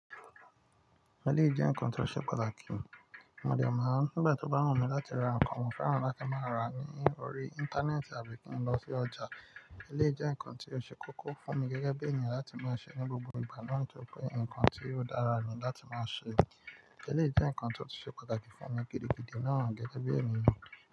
Éléyì jẹ́ ǹkan tó ṣe pàtàkì. Mò dé máa ń, nigbà tó bá wùn mí láti ra ǹkan mò ferán láti máa rà ní òrí íńtánẹ́ẹ̀tì àbí kí n lọ sí ọjà. Éléyì jẹ ǹkan tí ó ṣe kókó fún mi gẹ́gẹ́ bí ènìyàn láti máa ṣe ní gbogbo ìgbà náà ni tórí pé ǹkan tí ó dára ni láti máa ṣe. Éléyì jẹ́ ǹkan tó ti ṣe pàtàkì fún mi gidigidi náà gẹ́gẹ́ bí ènìyàn.